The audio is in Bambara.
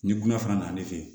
Ni gunna fana nan'i fɛ yen